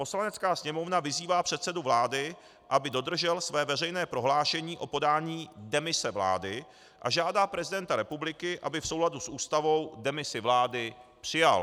Poslanecká sněmovna vyzývá předsedu vlády, aby dodržel své veřejné prohlášení o podání demise vlády, a žádá prezidenta republiky, aby v souladu s Ústavou demisi vlády přijal.